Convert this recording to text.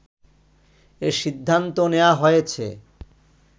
এ সিদ্ধান্ত নেয়া হয়েছে”